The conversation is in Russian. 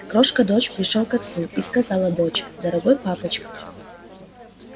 крошка дочь пришёл к отцу и сказала дочь дорогой папочка